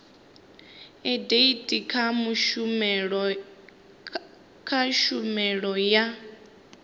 a etd kha tshumelo ya